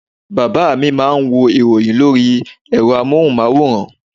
Bàbá mi má a nwo ìròyìn lórí ẹ̀rọ amóhunmáwòrán